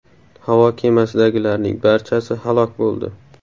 Havo kemasidagilarning barchasi halok bo‘ldi.